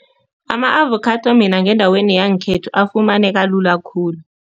Ama-avokhado mina ngendaweni yangekhethu afumaneka lula khulu.